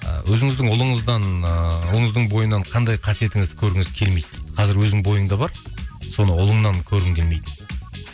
ыыы өзіңіздің ұлыңыздан ыыы ұлыңыздың бойынан қандай қасиетіңізді көргіңіз келмейді қазір өзің бойыңда бар соны ұлыңнан көргің келмейді